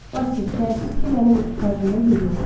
Vasil, təəssüf ki, mənim ekipajımda yeri yoxdur.